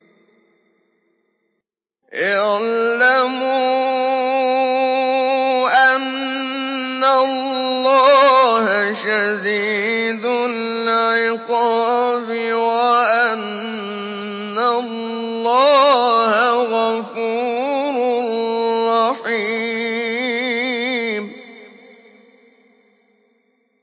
اعْلَمُوا أَنَّ اللَّهَ شَدِيدُ الْعِقَابِ وَأَنَّ اللَّهَ غَفُورٌ رَّحِيمٌ